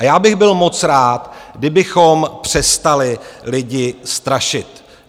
A já bych byl moc rád, kdybychom přestali lidi strašit.